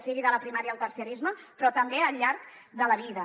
sigui de la primària al terciarisme però també al llarg de la vida